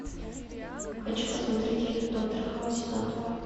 хочу посмотреть фильм доктор хаус сезон два